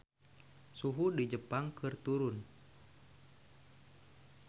Suhu di Jepang keur turun